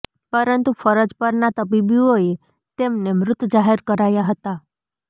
પરંતુ ફરજ પરના તબીબોએ તેમને મૃત જાહેર કરાયા હતા